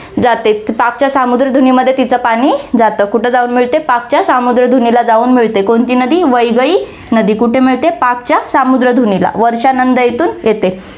जाते. पाकच्या सामुद्रधुनीमध्ये तीच पाणी जातं, कुठं जाऊन मिळते, पाकच्या सामुद्रधुनीला जाऊन मिळते, कोणती नदी, वैगई नदी, कुठे मिळते, पाकच्या सामुद्रधुनीला, वर्शनंद येथून येते.